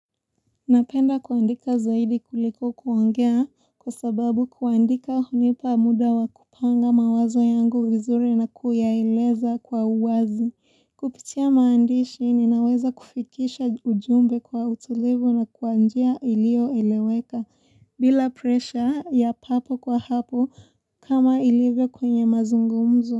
Napenda kuandika zaidi kuliko kuongea kwa sababu kuandika hunipa muda wa kupanga mawazo yangu vizuri na kuyaeleza kwa uwazi kupitia maandishi ninaweza kufikisha ujumbe kwa utolevu na kwa njia ilio eleweka bila presha ya papo kwa hapo kama ilivyo kwenye mazungumzo.